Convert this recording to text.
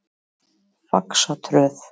Faxatröð